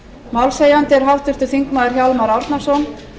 málshefjandi er háttvirtur þingmaður hjálmar árnason